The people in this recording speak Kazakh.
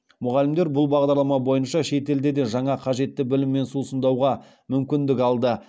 мұғалімдер бұл бағдарлама бойынша шетелде де жаңа қажетті біліммен сусындауға мүмкіндік алды